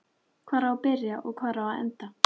Hvar á að byrja og hvar á að enda?